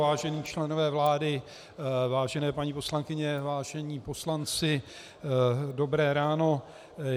Vážení členové vlády, vážené paní poslankyně, vážení poslanci, dobré ráno.